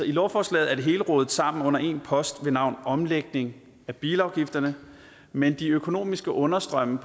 i lovforslaget er det hele rodet sammen i en post ved navn omlægning af bilafgifterne men de økonomiske understrømme